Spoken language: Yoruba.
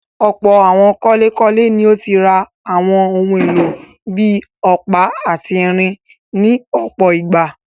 Ọ̀pọ̀ àwọn kọ́lékọ́lé ni ó ti rà àwọn ohun-èlò bí i ọ̀pá àti irin ní ọ̀pọ̀ ìgbà.